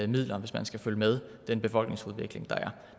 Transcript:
midler hvis man skal følge med den befolkningsudvikling der er